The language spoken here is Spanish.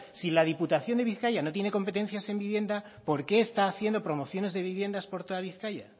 si la diputación de bizkaia no tiene competencias en viviendas por qué está haciendo promociones de viviendas por toda bizkaia